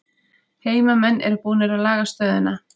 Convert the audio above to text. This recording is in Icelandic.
Heimamenn eru búnir að laga stöðuna